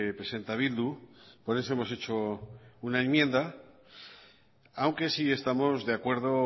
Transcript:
presenta bildu por eso hemos hecho una enmienda aunque sí estamos de acuerdo